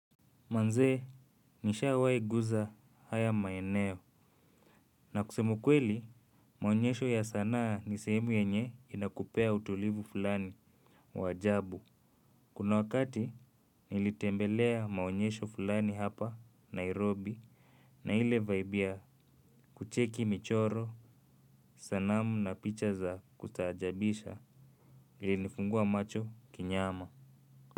Manzee nishawahi gusa haya maeneo na kusema ukweli maonyesho ya sanaa ni sehemu yenye inakupea utulivu fulani wa ajabu. Kuna wakati nilitembelea maonyesho fulani hapa Nairobi na ile vibe ya kucheki michoro sanamu na picha za kustajabisha ilinifungua macho kinyama.